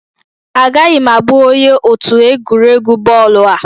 Agaghị m abụ onye otu egwuregwu bọọlụ a